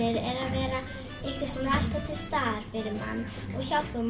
er alltaf til staðar fyrir mann og hjálpar